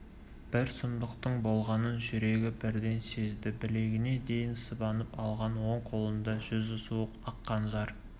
бір сұмдықтың болғанын жүрегі бірден сезді білегіне дейін сыбанып алған оң қолында жүзі суық ақ қанжар